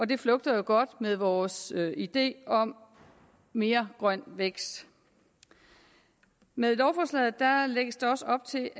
det flugter jo godt med vores idé om mere grøn vækst med lovforslaget lægges der også op til